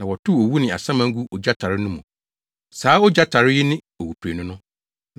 Na wɔtow owu ne asaman guu ogya tare no mu. Saa ogya tare yi ne owuprenu no.